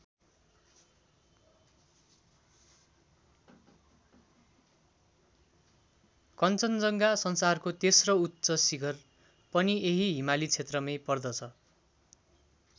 कञ्चनजङ्घा संसारको तेस्रो उच्च शिखर पनि यहि हिमाली क्षेत्रमै पर्दछ।